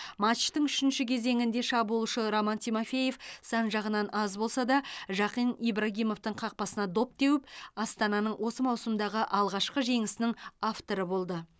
матчтың үшінші кезеңінде шабуылшы роман тимофеев сан жағынан аз болса да жақен ибрагимовтың қақпасына доп теуіп астананың осы маусымдағы алғашқы жеңісінің авторы болды